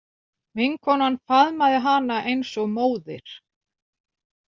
Vinkonan faðmaði hana eins og móðir.